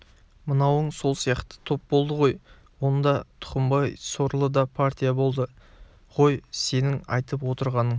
мынауың сол сияқты топ болды ғой онда тұқымбай сорлы да партия болды ғой сенің айтып отырғаның